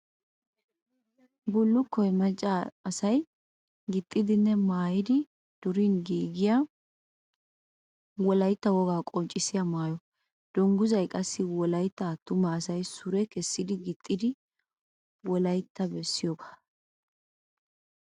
Bullukkoy macca asay gixxidinne mayyidi during giigiya wolayitta wogaa qonccissiya mayyo. Dungguzzay qassi wolayitta attuma asay sure kessidi gixxidi wolayitta bessiyoogaa.